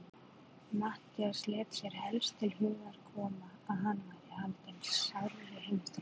Matthías lét sér helst til hugar koma, að hann væri haldinn sárri heimþrá.